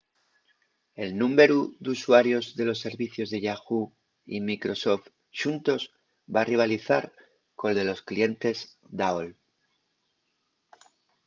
el númberu d’usuarios de los servicios de yahoo! y microsoft xuntos va rivalizar col de los clientes d’aol